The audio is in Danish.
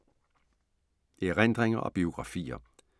Erindringer og biografier